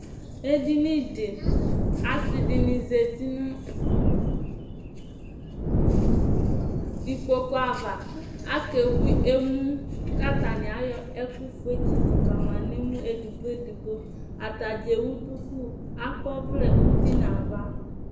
Ɛdiní di Asi dìní zɛti nʋ ikpoku ava Ake bui emu kʋ atani ayɔ ɛkʋ fʋe tsitu kama nʋ emu ɛdigbo ɛdigbo Atadza ɛwu dʋku Akɔ ɔvlɛ ʋti nʋ ava